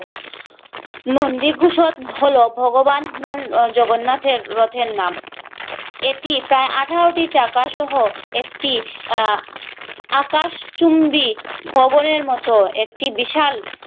নন্দী ভূষণ হলো ভগবান বান জগন্নাথের রথের নাম এটি প্রায় আঠারোটি চাকা সহ একটি আহ আকাশ চুম্বি ভবনের মতো একটি বিশাল